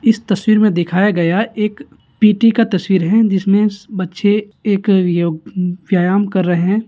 इस तस्वीर में दिखाया गया एक पी.टी का तस्वीर है जिसमें बच्चे एक योग व्यायाम कर रहे हैं।